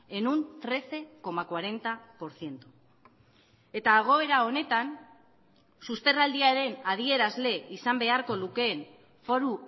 en un trece coma cuarenta por ciento eta egoera honetan susperraldiaren adierazle izan beharko lukeen foru